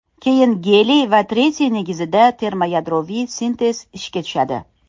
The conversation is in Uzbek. Keyin geliy va tritiy negizida termoyadroviy sintez ishga tushadi.